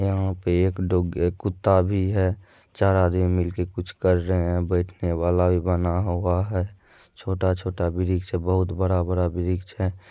यहाँ पे एक डो कुत्ता भी है चार आदमी मिलके कुछ कर रहे है बैठने वाला भी बना हुआ है छोटा-छोटा वृक्ष है बहुत बड़ा-बड़ा वृक्ष है ।